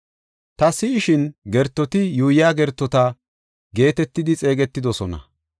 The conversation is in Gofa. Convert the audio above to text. Ta si7ishin, gertoti yuuyiya gertota geetetidi xeegetidosona.